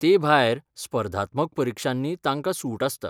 ते भायर, स्पर्धात्मक परिक्षांनी तांकां सूट आसता.